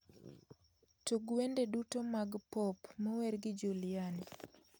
Tug wende duto mag pop mower gi juliani